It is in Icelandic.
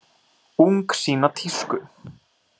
Ung sýna tísku